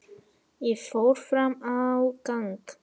Ég fór fram á gang.